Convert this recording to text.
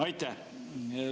Aitäh!